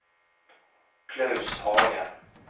Klaus Hagen